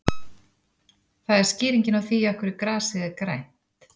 Það er skýringin á því af hverju grasið er grænt.